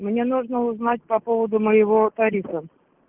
мне нужно узнать по поводу моего тарифа